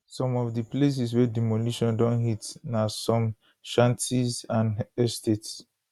some of di places wey demolition don hit na some shanties and estates